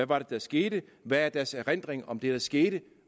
var der skete hvad deres erindring er om det der skete